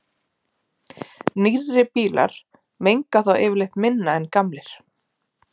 Nýrri bílar menga því yfirleitt minna en gamlir.